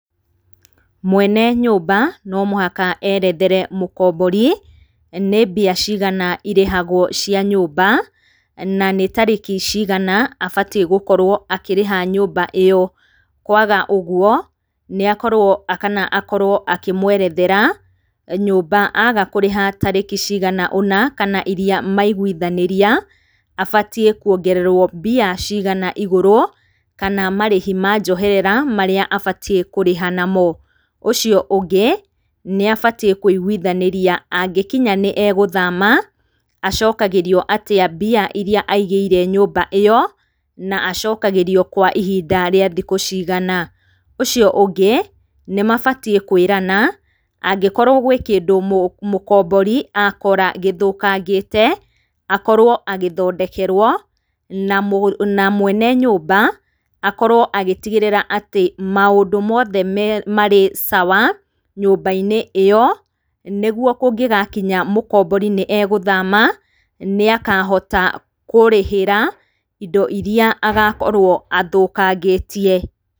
Mwene nyũmba no mũhaka erethere mũkombori, nĩ mbia cigana irĩhagwo cia nyũmba, na nĩ tarĩkĩ cigana abatiĩ gũkora akĩrĩha nyũmba ĩyo. Kwaga ũguo, nĩakorwo kana akorwo akĩmwerethera nyũmba aga kũrĩha tarĩkĩ cigana ũna kana iria maiguithanĩria abatiĩ kũongererwo mbia cigana igũrũ, kana marĩhi ma njoherera marĩa abatiĩ kũrĩha namo. Ũcio ũngĩ, ni abatiĩ kũigwithanĩria angikinya ni egũthama acokagĩrio atĩa mbia iria aigĩire nyũmba ĩyo, na acokagĩrio kwa ihinda rĩa thikũ cigana. Ũcio ũngĩ, nĩ mabatiĩ kwĩrana angĩkorwo gwĩ kĩndũ mũkombori akora gĩthũkangĩte, akorwo agĩthondekerwo, na mwene nyũmba akorwo agĩtigĩrĩra atĩ maũndũ mothe marĩ sawa nyũmba-inĩ ĩyo, nĩguo kũngĩgakinya mũkombori nĩ egũthama, nĩakahota kũrĩhĩra indo iria agakorwo athũkangĩtie.